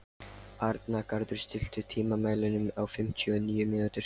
Arngarður, stilltu tímamælinn á fimmtíu og níu mínútur.